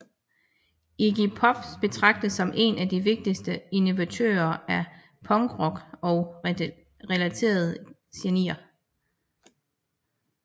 Iggy Pop betragtes som én af de vigtigste innovatører af punkrock og relaterede genrer